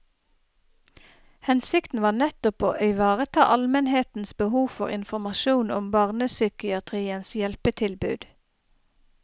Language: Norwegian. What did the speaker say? Hensikten var nettopp å ivareta almenhetens behov for informasjon om barnepsykiatriens hjelpetilbud.